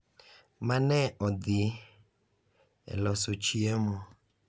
Mane odhi e loso chiemo .